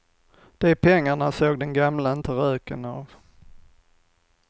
De pengarna såg den gamla inte röken av.